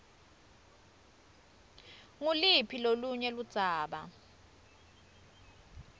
nguluphi lolunye ludzaba